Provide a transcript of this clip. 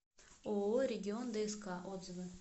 ооо регион дск отзывы